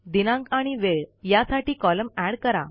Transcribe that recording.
दिनांक आणि वेळ यासाठी कॉलम एड करा